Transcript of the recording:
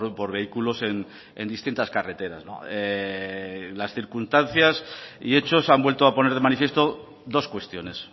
por vehículos en distintas carreteras las circunstancias y hechos han vuelto a poner de manifiesto dos cuestiones